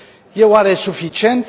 E oare suficient?